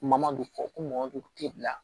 Mamadu fɔ ko mɔgɔ dun tɛ bila